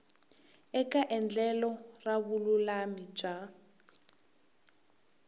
eka endlelo ra vululami bya